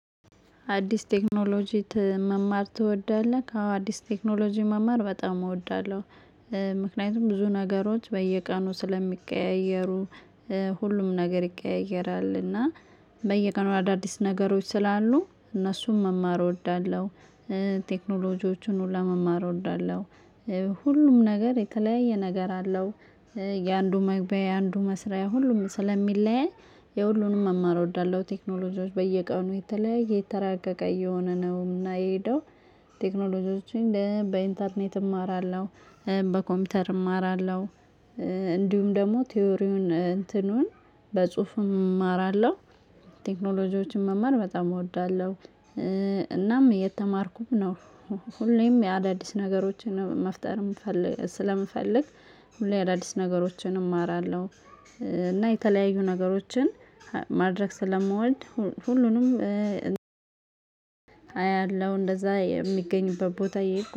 አዲስ ቴክኖሎጂ መማር ትወዳለህ? አዎ አዲስ ቴክኖሎጂ መማር በጣም እወዳለሁ። ምክንያቱም ብዙ ነገሮች በየቀኑ ስለሚቀያየሩ ሁሉም ነገር ይቀያየራል። እና በየቀኑ አዳዲስ ነገሮች ስላሉ እነሱን መማር እወዳለሁ። ቴክኖሎጂዎችን ሁላ መማር እወዳለሁ። ሁሉም ነገር የተለያየ ነገር አለው። የአንዱ መግቢያ የአንዱ መስሪያ ሁሉም ስለሚለያይ የሁሉንም መማር እወዳለሁ። ቴክኖሎጂዎች በየቀኑ የተለያየ የተራቀቀ እየሆነ ነው እና የሄደው። ቴክኖሎጂዎችን በኢንተርኔት እማራለሁ። በኮምፒውተር እማራለሁ። እንዲሁም ደግሞ ቲዎሪውን እንትኑን በጽሁፍ እማራለሁ። ቴክኖሎጂዎችን መማር በጣም እወዳለሁ። እናም እየተማርኩም ነው። ሁሌም አዳዲስ ነገሮችን መፍጠር ስለምፈልግ። ሁሌ አዳዲስ ነገሮችን እማራለሁ። እና የተለያዩ ነገሮችን ማድረግ ስለምወድ። ሁሉንም አያለሁ እንደዛ የሚገኙበት ቦታ እየሄድኩ